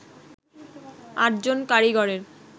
৮ জন কারিগরের